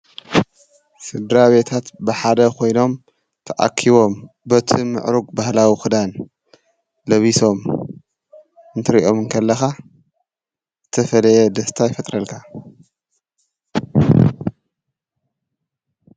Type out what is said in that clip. ስድራቤታት ብሓደ ኮይኖም ተኣኪቦም በቲ ምዕሩግ ባህላዊ ክዳን ለቢሶም እንትሪኦም ከለኻ ተፈለየ ደስታ ይፈጥረልካ።